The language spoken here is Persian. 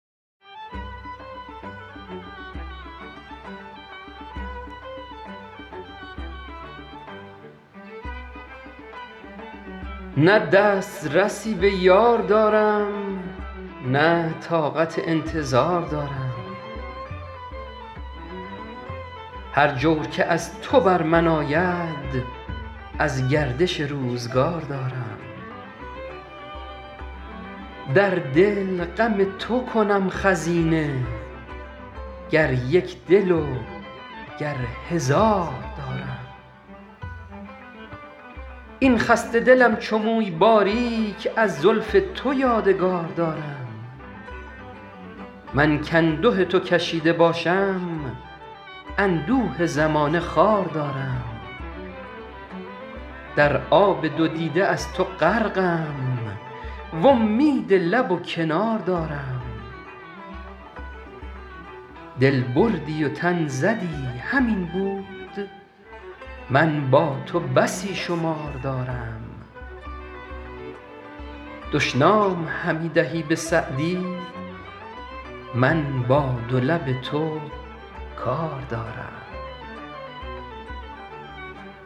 نه دست رسی به یار دارم نه طاقت انتظار دارم هر جور که از تو بر من آید از گردش روزگار دارم در دل غم تو کنم خزینه گر یک دل و گر هزار دارم این خسته دلم چو موی باریک از زلف تو یادگار دارم من کانده تو کشیده باشم اندوه زمانه خوار دارم در آب دو دیده از تو غرقم وامید لب و کنار دارم دل بردی و تن زدی همین بود من با تو بسی شمار دارم دشنام همی دهی به سعدی من با دو لب تو کار دارم